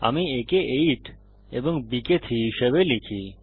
আমি a কে 8 এবং b কে 3 হিসাবে লিখি